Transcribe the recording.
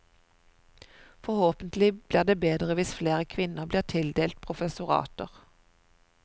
Forhåpentlig blir det bedre hvis flere kvinner blir tildelt professorater.